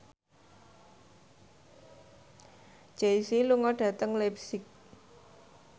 Jay Z lunga dhateng leipzig